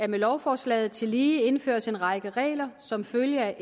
med lovforslaget tillige indføres en række regler som følge af